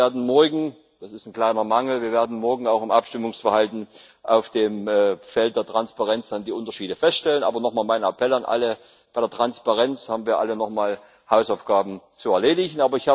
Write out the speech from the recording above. Wir werden morgen das ist ein kleiner Mangel auch im Abstimmungsverhalten auf dem Feld der Transparenz dann die Unterschiede feststellen. Aber noch mal mein Appell an alle Bei der Transparenz haben wir alle noch mal Hausaufgaben zu erledigen.